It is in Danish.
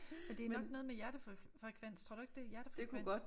Men det nok noget med hjertefrekvens tror du ikke det er hjertefrekvens?